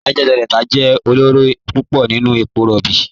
Niger Delta jẹ ọlọrọ púpọ̀ nínu èpò róbí.